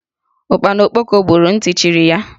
Ụkpana okpoko gburu, nti chiri ya